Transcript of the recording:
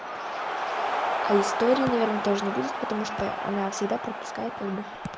а истории наверное тоже не будет потому что она всегда пропускает как бы